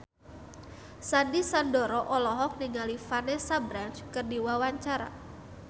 Sandy Sandoro olohok ningali Vanessa Branch keur diwawancara